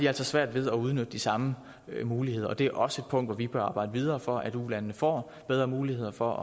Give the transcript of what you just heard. altså svært ved at udnytte de samme muligheder og det er også et punkt hvor vi bør arbejde videre for at ulandene får bedre muligheder for